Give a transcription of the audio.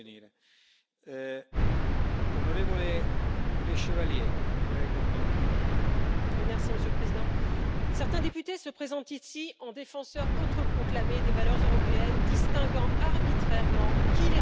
Monsieur le Président, certains députés se présentent ici en défenseurs autoproclamés des valeurs européennes, distinguant arbitrairement qui les respecte de qui les bafoue, et condamnant tous ceux qui ne marchent pas dans leur direction à sortir de l'unanimité.